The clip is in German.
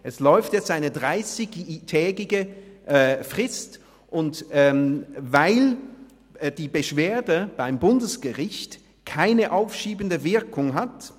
Es läuft jetzt eine 30-tägige Frist, weil die Beschwerde beim Bundesgericht keine aufschiebende Wirkung hat.